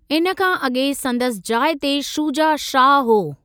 इन खां अॻे संदसि जाइ ते शूजा शाह हो।